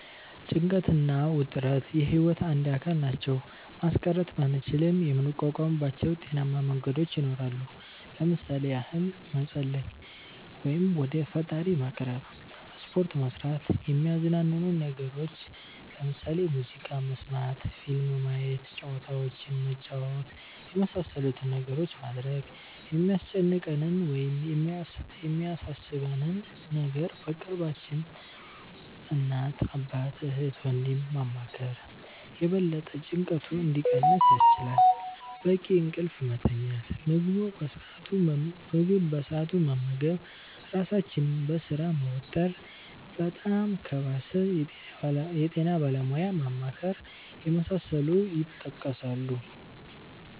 ጭንቀት እና ውጥረት የህይወት አንድ አካል ናቸው። ማስቀረት ባንችልም የምንቋቋምባቸው ጤናማ መንገዶች ይኖራሉ። ለምሣሌ ያህል መፀለይ(ወደ ፈጣሪ መቅረብ)፣ሰፖርት መስራት፣ የሚያዝናኑንን ነገሮች (ሙዚቃ መስመት፣ ፊልም ማየት፣ ጨዋታዎችንን መጫወት)የመሣሠሉትን ነገሮች ማድረግ፣ የሚያስጨንቀንን ወይም የሚያሣሦበንን ነገሮች በቅርባችን (እናት፣ አባት፣ እህት፣ ወንድም )ማማከር የበለጠ ጭንቀቱ እንዲቀንስ ያስችላል፣ በቂ እንቅልፍ መተኛት፣ ምግብ በሠአቱ መመገብ ራሣችንን በሥራ መወጠር፣ በጣም ከባሠ የጤና ባለሙያ ማማከር የመሣሠሉት ይጠቀሳሉ።